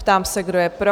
Ptám se, kdo je pro?